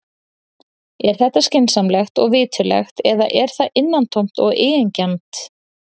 Er þetta skynsamlegt og viturlegt eða er það innantómt og eigingjarnt?